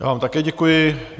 Já vám také děkuji.